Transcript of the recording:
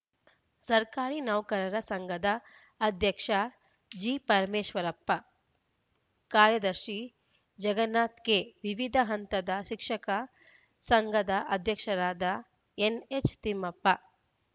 ಸರ್ಕಾರಿ ನೌಕರರ ಸಂಘದ ಅಧ್ಯಕ್ಷ ಜಿಪರಮೇಶ್ವರಪ್ಪ ಕಾರ್ಯದರ್ಶಿ ಜಗನ್ನಾಥ್‌ ಕೆ ವಿವಿಧ ಹಂತದ ಶಿಕ್ಷಕ ಸಂಘದ ಅಧ್ಯಕ್ಷರಾದ ಎನ್‌ಎಚ್‌ ತಿಮ್ಮಪ್ಪ